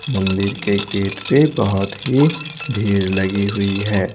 मंदिर के गेट पे बहुत ही भीड़ लगी हुई है।